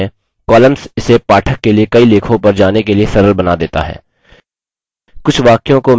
अतः आप देखते हैंcolumns इसे पाठक के लिए कई लेखों पर जाने के लिए सरल बना देता है